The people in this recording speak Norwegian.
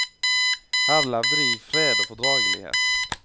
Her levde de i fred og fordragelighet.